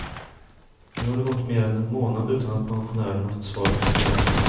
Nu har det gått mer än en månad utan att pensionärerna fått svar på sin vädjan.